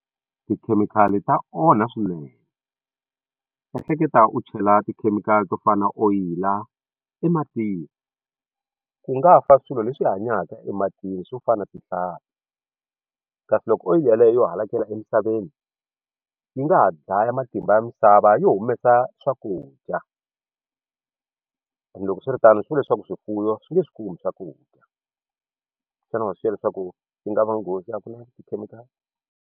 Tikhemikhali ta onha swinene ehleketa u chela tikhemikhali to fana na oyili ematini ku nga fa swilo leswi hanyaka ematini swo fana na tihlampfi kasi loko oyili yaleyo yo hakela emisaveni yi nga ha dlaya matimba ya misava yo humesa swakudya and loko swi ri tano swi vula leswaku swifuwo swi nge swi kumi swakudya xana wa swi xiya leswaku yi nga va nghozi a ku na tikhemikhali.